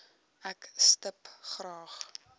ek stip graag